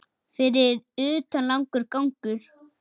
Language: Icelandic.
Fyrir utan langur gangur.